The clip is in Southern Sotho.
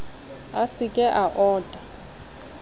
a se ke a ota